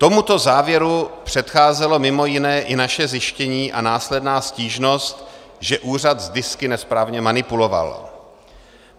Tomuto závěru předcházelo mimo jiné i naše zjištění a následná stížnost, že úřad s disky nesprávně manipuloval.